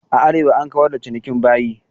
A Arewa an kawar da cinikin bayi.